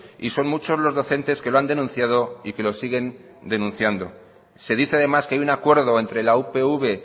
y son muchos los docentes que lo han denunciado y que lo siguen denunciando se dice además que hay un acuerdo entre la upv